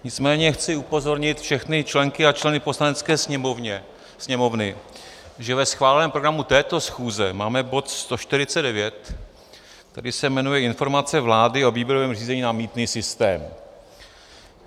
Nicméně chci upozornit všechny členky a členy Poslanecké sněmovny, že ve schváleném programu této schůze máme bod 149, který se jmenuje Informace vlády o výběrovém řízení na mýtný systém.